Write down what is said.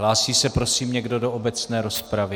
Hlásí se prosím někdo do obecné rozpravy?